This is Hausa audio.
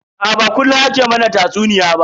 Aa ba kullun ake mana tatsuniya ba.